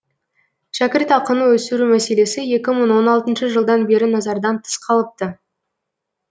шәкіртақыны өсіру мәселесі екі мың он алтыншы жылдан бері назардан тыс қалыпты